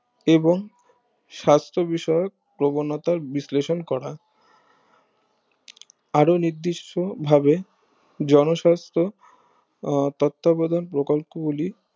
এবং সাস্থ বিষয়ক প্রবণতার বিশ্লেষণ করা আরো নির্দিষ্ট ভাবে জনস্বাস্থ ও তত্তবধান প্রকল্প গুলি